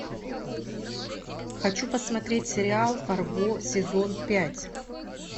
хочу посмотреть сериал фарго сезон пять